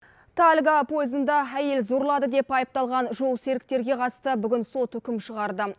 тальго поезында әйел зорлады деп айыпталған жолсеріктерге қатысты бүгін сот үкім шығарды